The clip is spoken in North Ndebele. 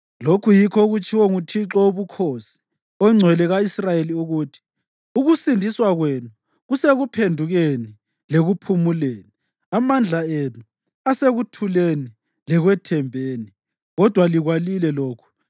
Lokhu yikho okutshiwo nguThixo Wobukhosi, oNgcwele ka-Israyeli, ukuthi: “Ukusindiswa kwenu kusekuphendukeni lekuphumuleni, amandla enu asekuthuleni lekwethembeni, kodwa likwalile lokhu.